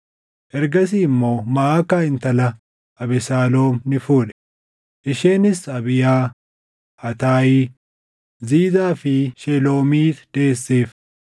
Ergasii immoo Maʼakaa intala Abesaaloom ni fuudhe; isheenis Abiyaa, Ataayi, Ziizaa fi Sheloomiit deesseef.